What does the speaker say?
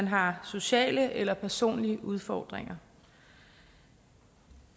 har sociale eller personlige udfordringer